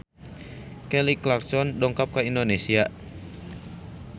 Kelly Clarkson dongkap ka Indonesia